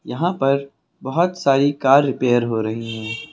यहां पर बहुत सारी कार रिपेयर हो रही हैं।